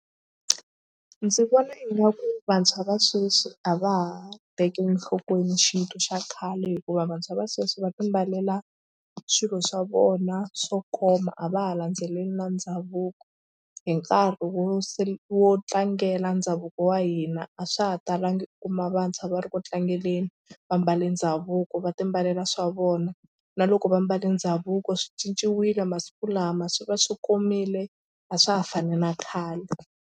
Ndzi vona ingaku vantshwa va sweswi a va ha tekeli enhlokweni xintu xa khale hikuva vantshwa va sweswi va timbalela swilo swa vona swo koma a va ha landzeleli na ndhavuko hi nkarhi wo se wo tlangela ndhavuko wa hina a swa ha talanga u kuma vantshwa va ri ku tlangeni va mbale ndhavuko va timbalela swa vona na loko va mbale ndhavuko swi cinciwile masiku lama swi va swi komile a swa ha fani na khale.